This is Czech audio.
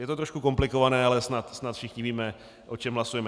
Je to trošku komplikované, ale snad všichni víme, o čem hlasujeme.